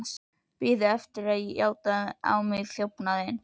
Biðu eftir að ég játaði á mig þjófnaðinn.